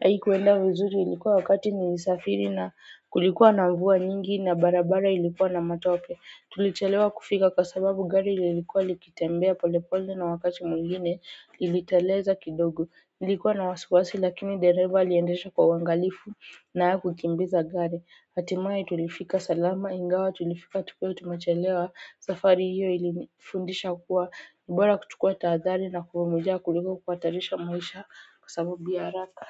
haikuenda vizuri ilikuwa wakati nilisafiri na kulikuwa na mvua nyingi na barabara ilikuwa na matope tulichelewa kufika kwa sababu gari lilikuwa likitembea polepole na wakati mwingine iliteleza kidogo nilikuwa na wasiwasi lakini dereva aliendesha kwa uangalifu na akukimbiza gari hatimaye tulifika salama ingawa tulifika tukiwa tumechelewa Safari hiyo ilinifundisha kuwa ni bora kuchukua tahadhari na kuvumilia kuliko kuhatarisha maisha kwa sababu ya haraka.